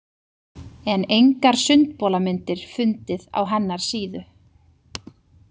En engar sundbolamyndir fundið á hennar síðu.